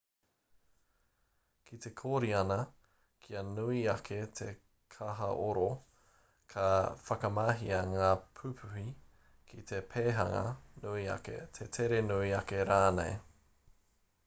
ki te kōriana kia nui ake te kahaoro ka whakamahia ngā pupuhi ki te pēhanga nui ake te tere nui ake rānei